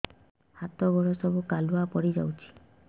ହାତ ଗୋଡ ସବୁ କାଲୁଆ ପଡି ଯାଉଛି